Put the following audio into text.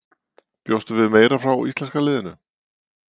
Bjóstu við meira frá íslenska liðinu?